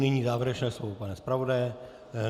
Nyní závěrečné slovo pana zpravodaje.